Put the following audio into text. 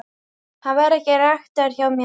Hann væri ekki ræktaður hjá mér.